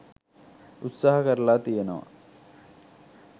උත්සාහ කරල තියෙනවා.